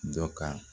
Dɔ ka